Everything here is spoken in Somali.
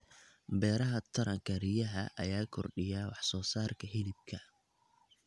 Beeraha Taranka riyaha ayaa kordhiya wax soo saarka hilibka.